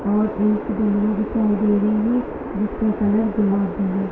और एक दिखाई दे रही है --